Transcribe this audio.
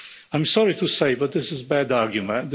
I'm sorry to say it, but this is a bad argument.